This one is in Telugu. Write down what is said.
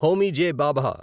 హోమీ జె. భాభా